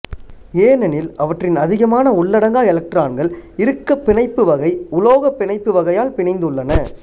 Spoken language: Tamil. ஏனெனில் அவற்றின் அதிகமான உள்ளடங்கா எலக்ட்ரான்கள் இறுக்கப் பிணைப்பு வகை உலோக பிணைப்பு வகையால் பிணைந்துள்ளன